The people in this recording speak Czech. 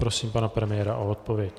Prosím pana premiéra o odpověď.